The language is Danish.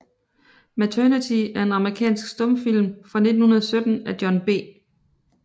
Maternity er en amerikansk stumfilm fra 1917 af John B